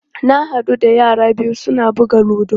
Na haɗu da yara biyu su na buga ludo.